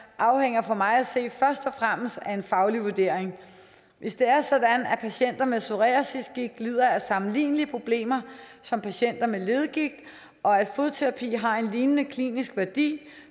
afhænger for mig at se først og fremmest af en faglig vurdering hvis det er sådan at patienter med psoriasisgigt lider af sammenlignelige problemer som patienter med leddegigt og at fodterapi har en lignende klinisk værdi